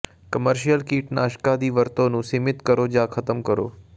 commercial ਕੀਟਨਾਸ਼ਕਾਂ ਦੀ ਵਰਤੋਂ ਨੂੰ ਸੀਮਿਤ ਕਰੋ ਜਾਂ ਖਤਮ ਕਰੋ